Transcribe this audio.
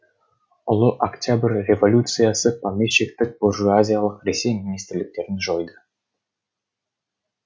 ұлы октябрь революциясы помещиктік буржуазиялық ресей министрліктерін жойды